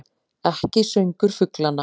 Ekki söngur fuglanna.